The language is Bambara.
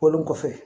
Bɔlen kɔfɛ